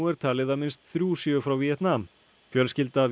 er talið að minnst þrjú séu frá Víetnam fjölskylda